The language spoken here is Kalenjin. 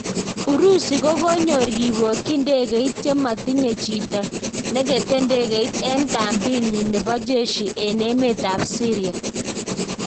Urusi kokonyor kipoyik ndegeit chematinye jito negete ndegeit en kambit nyi nepo jeshi en emet ap Syria